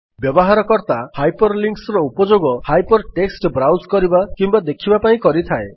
ବ୍ୟବହାରକର୍ତ୍ତା hyper ଲିଙ୍କ୍ସର ଉପଯୋଗ hypertext browse କରିବା କିମ୍ୱା ଦେଖିବା ପାଇଁ କରିଥାଏ